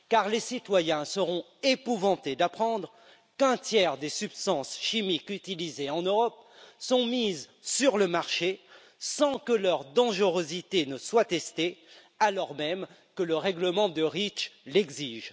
Les citoyens seront épouvantés d'apprendre qu'un tiers des substances chimiques utilisées en Europe sont mises sur le marché sans que leur dangerosité ne soit testée, alors même que le règlement Reach l'exige.